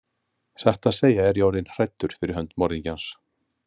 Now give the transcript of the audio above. Satt að segja er ég orðinn hræddur fyrir hönd morðingjans.